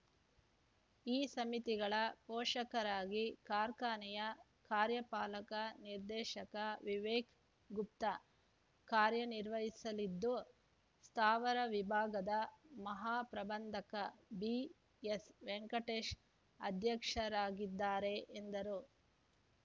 ಈ ಸಮಿತಿಗಳ ಪೋಷಕರಾಗಿ ಕಾರ್ಖಾನೆಯ ಕಾರ್ಯಪಾಲಕ ನಿರ್ದೇಶಕ ವಿವೇಕ್‌ಗುಪ್ತಾ ಕಾರ್ಯ ನಿರ್ವಹಿಸಲಿದ್ದು ಸ್ಥಾವರ ವಿಭಾಗದ ಮಹಾಪ್ರಬಂಧಕ ಬಿಎಸ್‌ ವೆಂಕಟೇಶ್‌ ಅಧ್ಯಕ್ಷರಾಗಿದ್ದಾರೆ ಎಂದರು